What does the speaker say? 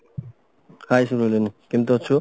hy ସୁରଲିନ କେମତି ଅଛୁ